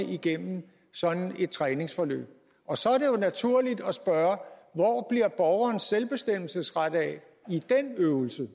igennem sådan et træningsforløb og så er det jo naturligt at spørge hvor bliver borgerens selvbestemmelsesret af i den øvelse